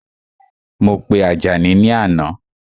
Mo pe Àjàní ni àná